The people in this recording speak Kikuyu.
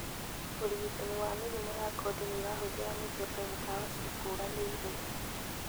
ũrigitani wa mĩrimũ ya ngothi noũhũthĩre mĩthemba ya ndawa ciĩkũranĩire